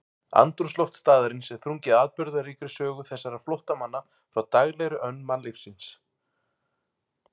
Andrúmsloft staðarins er þrungið atburðaríkri sögu þessara flóttamanna frá daglegri önn mannlífsins.